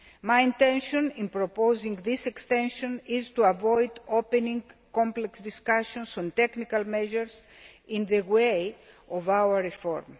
My intention in proposing this extension is to avoid opening complex discussions on technical measures in the way of our reform.